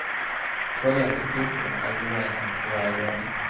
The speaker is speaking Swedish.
Toalett och duschrum är gemensamt för varje våning.